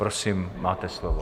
Prosím, máte slovo.